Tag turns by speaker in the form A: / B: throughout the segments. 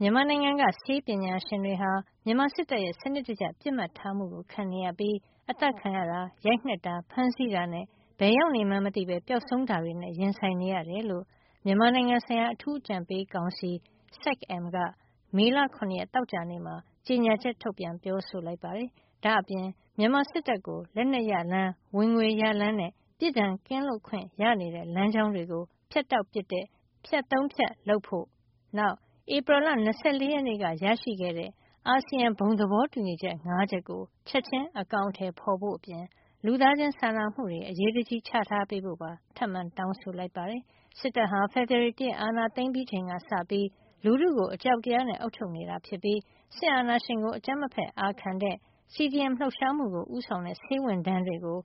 A: မြန်မာနိုင်ငံက ဆေးပညာရှင်တွေဟာ မြန်မာစစ်တပ်ရဲ့ စနစ်တကျ ပစ်မှတ်ထားမှု ခံနေရပြီး အသတ်ခံရတာ၊ ရိုက်နှက်တာ ဖမ်းဆီးတာနဲ့ ဘယ်ရောက်နေမှန်းမသိ ပျောက်ဆုံးတာတွေနဲ့ ရင်ဆိုင်နေရတယ်လို့ မြန်မာနိုင်ငံဆိုင်ရာ အထူးအကြံပေးကောင်စီ SAC-M က မေလ ၇ ရက် သောကြာနေ့မှာ ကြေညာချက် ထုတ်ပြန်ပြောဆိုလိုက်ပါတယ်။ ဒါ့အပြင် မြန်မာစစ်တပ်ကို လက်နက်ရလမ်း၊ ဝင်ငွေရလမ်းနဲ့ ပြစ်ဒဏ်ကင်းလွတ်ခွင့်ရနေတဲ့လမ်းကြောင်း တွေကို ဖြတ်တောက်ပစ်တဲ့ ဖြတ် ၃ ဖြတ် လုပ်ဖို့၊ ဧပြီလ ၂၄ ရက်နေ့က ရရှိခဲ့တဲ့ အာဆီယံ ဘုံသဘောတူညီချက် ၅ ချက်ကို ချက်ချင်းအကောင်ထည်ဖေါ်ဖို့အပြင် လူသားချင်းစာနာမှုတွေ အရေးတကြီး ချထားပေးဖို့ ထပ်မံတောင်းဆိုလိုက်ပါတယ်။ စစ်တပ်ဟာ ဖေဖေါ်ဝါရီ ၁ ရက် အာဏာသိမ်းပြီးချိန်ကစပြီး လူထုကို အကြောက်တရားနဲ့ အုပ်ချုပ်နေပြီး စစ်အာဏာရှင်ကို အကြမ်းမဖက်အာခံတဲ့ CDM လှုပ်ရှားမှုကို ဦးဆောင်တဲ့ ဆေးဝန်ထမ်းတွေကို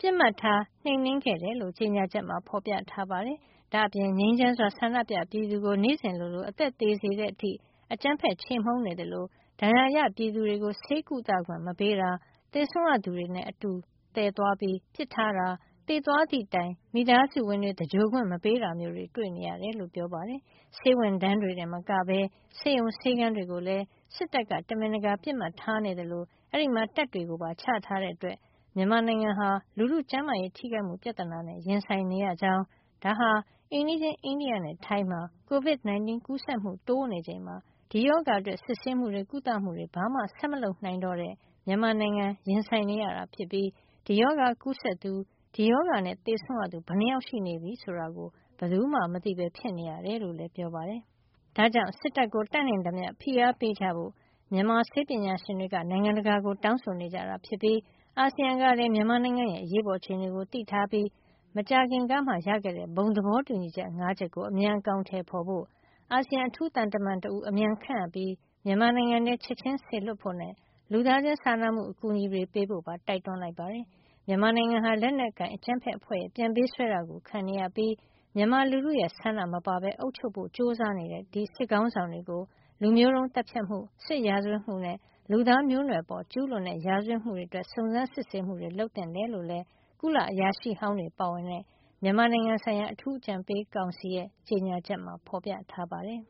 A: ပစ်မှတ်ထားနှိမ်နင်းခဲ့တယ်လို့ ကြေညာချက်မှာ ဖေါ်ပြထားပါတယ်။ ဒါ့အပြင် ငြိမ်းချမ်းစွာဆန္ဒပြတဲ့ ပြည်သူကို နေ့စဉ်လိုလို အသက်သေစေတဲ့အထိ အကြမ်းဖက်ခြေမှုန်းနေသလို ဒဏ်ရာရ ပြည်သူတွေကို ဆေးကုသခွင့်မပေးတာ၊ သေဆုံးရသူတွေနဲ့ အတူသယ်သွားပြီး ပစ်ထားတာ၊ သေသွားသည့်တိုင် မိသားစုဝင်တွေ သဂြိုဟ်ခွင့် မပေးတာမျိုးတွေတွေ့နေရတယ်လို့ ဆိုပါတယ်။ ဆေးဝန်ထမ်းတွေတင်မကပဲ ဆေးရုံ ဆေးခန်းတွေကိုလည်း စစ်တပ်က တမင်တကာ ပစ်မှတ်ထားနေသလို အဲဒီမှာ တပ်တွေပါ ချထားတဲ့ အတွက် မြန်မာနိုင်ငံဟာ လူထုကျန်းမာရေးထိခိုက်မှု ပြဿနာနဲ့ ရင်ဆိုင်နေရကြောင်း ဒါဟာ အိမ်နီးချင်း အိန္ဒိယနဲ့ထိုင်းမှာ COVID 19 ကူးစက်မှု တိုးနေချိန်မှာ ဒီရောဂါအတွက်စစ်ဆေးမှုတွေ၊ ကုသမှုတွေ ဘာမှဆက်မလုပ်နိုင်တော့တဲ့ မြန်မာနိုင်ငံ ရင်ဆိုင်နေရတာ ဖြစ်ပြီး ဒီရောဂါကူးစက်သူ ဒီရောဂါနဲ့ သေဆုံးရသူ ဘယ်နှစ်ယောက်ရှိနေပြီဆိုတာ ဘယ်သူမှ မသိပဲ ဖြစ်နေရတယ်လို့လည်း ပြောပါတယ်။ ဒါကြောင့် စစ်တပ်ကို တတ်နိုင်သမျှ ဖိအားပေးကြဖို့ မြန်မာဆေးပညာရှင်တွေက နိုင်ငံတကာကို တောင်းဆိုနေတာ ဖြစ်ပြီး အာဆီယံကလည်း မြန်မာနိုင်ငံရဲ့ အရေးပေါ် အခြေနေကို သိထားပြီး မကြာခင်ကမှ ရခဲ့တဲ့ ဘုံသဘောတူညီချက် ၅ ချက်ကို အမြန်အကောင်ထည်ဖေါ်ကြဖို့၊ အာဆီယံ အထူးသံတမန်တဦး အမြန်ခန့်အပ်ပြီး မြန်မာနိုင်ငံထဲ ချက်ချင်းစေလွှတ်ဖို့နဲ့ လူသားချင်းစာနာမှု အကူအညီတွေ ပေးဖို့ပါ တိုက်တွန်းလိုက်ပါတယ်။ မြန်မာနိုင်ငံဟာ လက်နက်ကိုင်အကြမ်းဖက် အဖွဲ့ရဲ့ ပြန်ပေးဆွဲတာ ခံနေရပြီး မြန်မာလူထုရဲ့ ဆန္ဒမပါပဲ အုပ်ချုပ်ဖို့ ကြိုးစားနေတဲ့ ဒီစစ်ခေါင်းဆောင်တွေ ကို လူမျိုးတုန်းသတ်ဖြတ်မှု၊ စစ်ရာဇဝတ်မှုနဲ့ လူသားမျိုးနွယ်အပေါ်ကျူးလွန်တဲ့ ရာဇဝတ်မှုတွေ အတွက် စုံစမ်းစစ်ဆေးမှုတွေ လုပ်သင့်တယ်လို့လည်း ကုလသမဂ္ဂအရာရှိဟောင်းတွေ ပါဝင်တဲ့ မြန်မာနိုင်ငံဆိုင်ရာ အထူးအကြံပေးကောင်စီရဲ့ ကြေညာချက်မှာ ဖေါ်ပြထားပါတယ်။